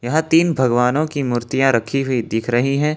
यहां तीन भगवानों की मूर्तियां रखी हुई दिख रही हैं।